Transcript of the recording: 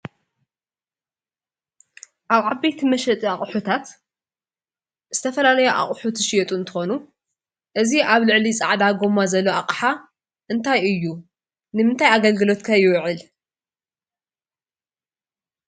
ኣብ ዓበይቲ መሸጢ ኣቑሑታት ዝተፈላለዩ ኣቑሑት ዝሽየጡ እንትኾኑ እዚ ኣብ ልዕሊ ፃዕዳ ጎማ ዘሎ ኣቕሓ እንታይ እዩ> ንምታይ ኣገልግሎት ከ ይውዕል?